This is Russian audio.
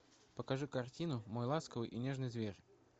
покажи картину мой ласковый и нежный зверь